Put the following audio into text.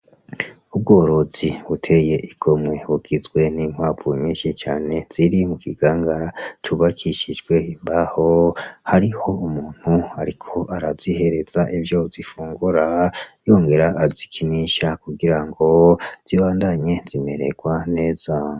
Ubworozi buteye igomwe bugizwe n'inkwavu nyinshi cane, ziri mu kingangara c'ubakishijwe imbaho, hariho umuntu ariko arazihereza ivyo zifungura yongere azikinisha kugira zibandanye zimererwa neza.